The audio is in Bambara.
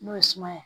N'o ye suma ye